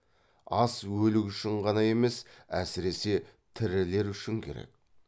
ас өлік үшін ғана емес әсіресе тірілер үшін керек